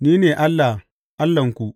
Ni ne Allah, Allahnku.